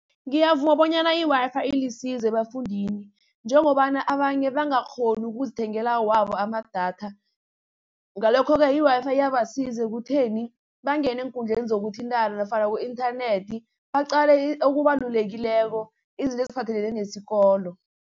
Ngiyavuma bonyana i-Wi-Fi ilisizo ebafundini, njengobana abanye bangakghoni ukuzithengela wabo amadatha. Ngalokho-ke i-Wi-Fi iyabasiza ekutheni bangene eenkundleni zokuthintana nofana ku-inthanethi, baqale okubalulekileko izinto eziphathelene nesikolo.